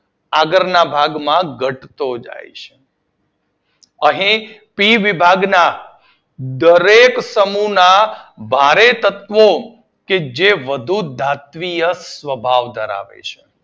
આગળ ના ભાગમાં ઘટતો જાય છે અહિયાં સી વિભાગના દરેક સમૂહ ના ભારે તત્વો જે વધારે ધાતવીય સ્વભાવ ધરાવે છે